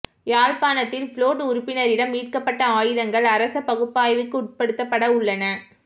யாழ்ப்பாணத்தில் புளொட் உறுப்பினரிடம் மீட்கப்பட்ட ஆயுதங்கள் அரச பகுப்பாய்வுக்குட்படுத்தப்பட உள்ளன